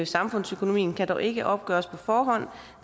samfundsøkonomien kan dog ikke opgøres på forhånd